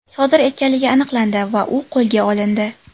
sodir etganligi aniqlandi va u qo‘lga olindi.